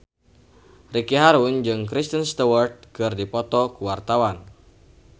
Ricky Harun jeung Kristen Stewart keur dipoto ku wartawan